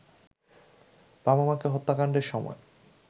বাবা-মাকে হত্যাকাণ্ডের সময়